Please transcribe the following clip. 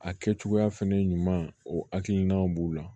A kɛ cogoya fɛnɛ ɲuman o hakilinaw b'o la